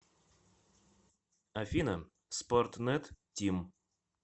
афина спортнет тим